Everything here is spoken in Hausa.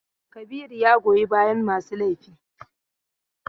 Kabiru ya goyi bayan masu laifi.